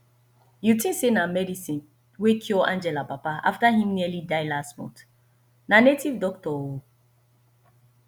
you think say na medicine wey cure angela papa after im nearly die last month na native doctor oo